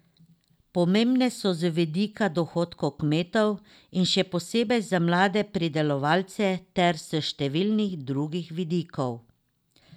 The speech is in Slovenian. Pomembne so z vidika dohodka kmetov in še posebej za male pridelovalce ter s številnih drugih vidikov.